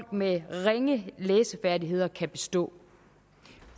med ringe læsefærdigheder kan bestå